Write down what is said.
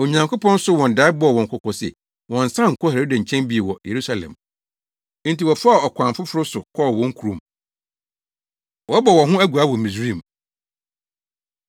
Onyankopɔn soo wɔn dae bɔɔ wɔn kɔkɔ se wɔnnsan nkɔ Herode nkyɛn bio wɔ Yerusalem. Enti wɔfaa ɔkwan foforo so kɔɔ wɔn kurom. Wɔbɔ Wɔn Ho Aguaa Wɔ Misraim